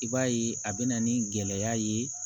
I b'a ye a bɛ na ni gɛlɛya ye